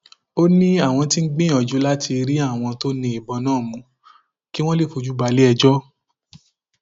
ó ní àwọn tí ń gbìyànjú láti rí àwọn tó ní ìbọn náà mú kí wọn lè fojú balẹẹjọ